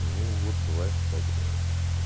ну вот бывает так да